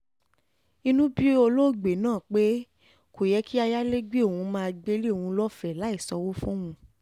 inú bí olóògbé náà pé kò yẹ kí ayálégbé òun máa gbélé òun lọ́fẹ̀ẹ́ láì sanwó fóun